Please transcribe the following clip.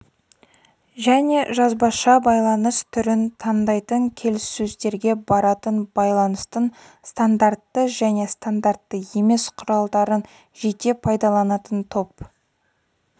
және ауызша байланыс түрін таңдайтын келіссөздерге баратын байланыстың стандартты және стандартты емес құралдарын жете пайдаланатын топ